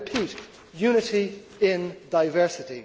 I repeat unity in diversity.